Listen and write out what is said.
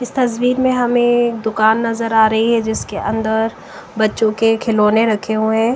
इस तस्वीर में हमें दुकान नजर आ रही है जिसके अंदर बच्चों के खिलौने रखे हुए--